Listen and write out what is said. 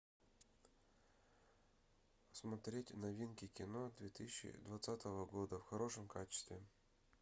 смотреть новинки кино две тысячи двадцатого года в хорошем качестве